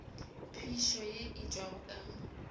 phišo ye e tšwago ka